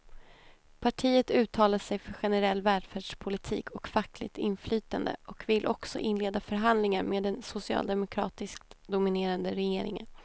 Partiet uttalar sig för generell välfärdspolitik och fackligt inflytande och vill också inleda förhandlingar med den socialdemokratiskt dominerade regeringen.